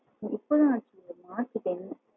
இப்போ தான் ஆச்சு மார்ச் ten